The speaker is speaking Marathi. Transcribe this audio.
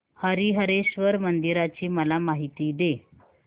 हरीहरेश्वर मंदिराची मला माहिती दे